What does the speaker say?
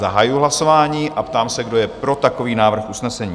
Zahajuji hlasování a ptám se, kdo je pro takový návrh usnesení?